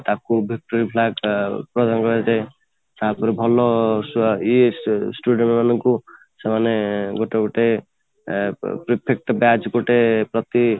ତାପରେ ଭଲ ଇୟେ ସେ student ମାନଙ୍କୁ ସେମାନେ ଗୋଟେ ଗୋଟେ perfect batch